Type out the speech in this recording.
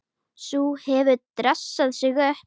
Sú hefur dressað sig upp!